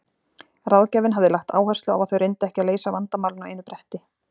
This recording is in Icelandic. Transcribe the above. Ráðgjafinn hafði lagt áherslu á að þau reyndu ekki að leysa vandamálin á einu bretti.